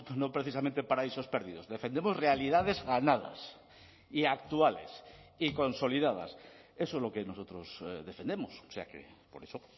no precisamente paraísos perdidos defendemos realidades ganadas y actuales y consolidadas eso es lo que nosotros defendemos o sea que por eso